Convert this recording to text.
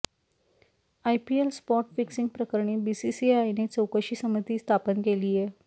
IPL spot fixing प्रकरणी बीसीसीआयने चौकशी समिती स्थापन केलीय